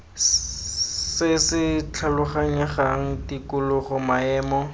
se se tlhaloganyegang tikologo maemo